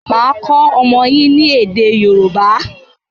Màá kọ́ ọmọ yín ni èdè Yòrúbá.